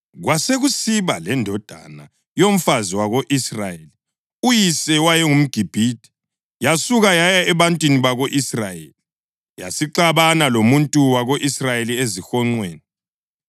Kwasekusiba lendodana yomfazi wako-Israyeli, uyise wayengumGibhithe, yasuka yaya ebantwini bako-Israyeli, yasixabana lomuntu wako-Israyeli ezihonqweni.